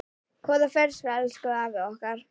Góða ferð elsku afi okkar.